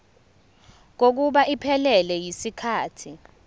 kokuba iphelele yisikhathi